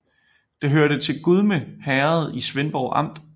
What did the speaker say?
Det hørte til Gudme Herred i Svendborg Amt